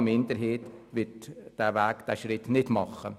Eine Minderheit wird diesen Schritt nicht tun.